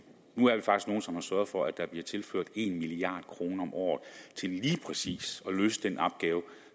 nu er vi faktisk nogle som har sørget for at der bliver tilført en milliard kroner om året til lige præcis at løse den opgave